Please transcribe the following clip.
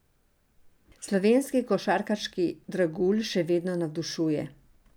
Slovenski košarkarski dragulj še vedno navdušuje.